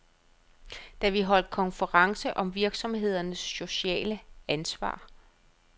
Da holdt vi konference om virksomhedernes sociale ansvar.